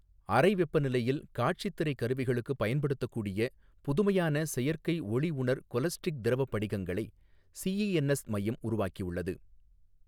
அறை வெப்பநிலையில் காட்சித் திரைக் கருவிகளுக்கு பயன்படுத்தக் கூடிய புதுமையான செயற்கை ஒளிஉணர் கொலஸ்ட்ரிக் திரவ படிகங்களை சிஇஎன்எஸ் மையம் உருவாக்கி உள்ளது.